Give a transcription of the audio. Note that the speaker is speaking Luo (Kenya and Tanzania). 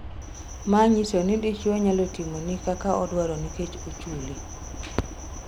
Maa nyiso ni dichuo nyalo timoni kaka odwaro nikech ochuli.